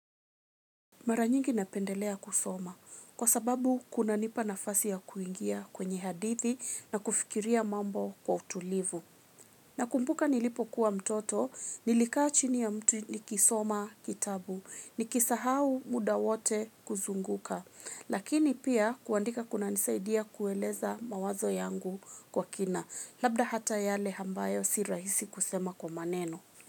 Mara nyingi napendelea kusoma, kwa sababu kuna nipa nafasi ya kuingia kwenye hadithi na kufikiria mambo kwa utulivu. Na kumbuka nilipokuwa mtoto, nilikaa chini ya mtu nikisoma kitabu, nikisahau muda wote kuzunguka, lakini pia kuandika kuna nisaidia kueleza mawazo yangu kwa kina, labda hata yale ambayo si rahisi kusema kwa maneno.